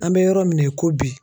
An bɛ yɔrɔ min na i ko bi